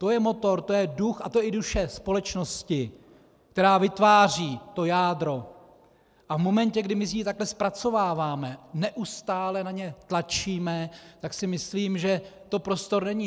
To je motor, to je duch a to je i duše společnosti, která vytváří to jádro a v momentě, kdy my si ji takto zpracováváme, neustále na ně tlačíme, tak si myslím, že to prostor není.